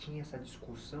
Tinha essa discussão?